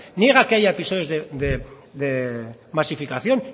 niegan que haya pisos de masificación